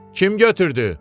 Kim götürdü?